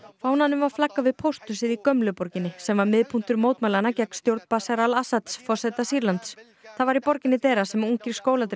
fánanum var flaggað við pósthúsið í gömlu borginni sem var miðpunktur mótmælanna gegn stjórn Bashar al Assads forseta Sýrlands það var í borginni Deraa sem ungir